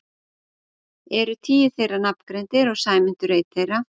Eru tíu þeirra nafngreindir og Sæmundur einn þeirra.